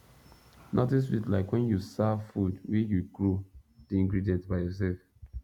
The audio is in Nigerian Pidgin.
nothing sweet like when you serve food wey you grow the ingredient by yourself